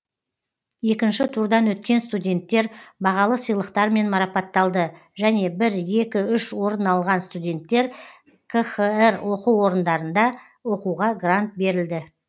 екінші турдан өткен студенттер бағалы сыйлықтармен марапатталды және бір екі үш орын алған студенттер қхр оқу орындарында оқуға грант берілді